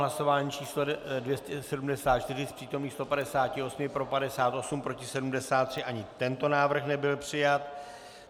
Hlasování číslo 274, z přítomných 158 pro 58, proti 73, ani tento návrh nebyl přijat.